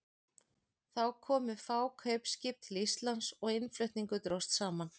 Þá komu fá kaupskip til Íslands og innflutningur dróst saman.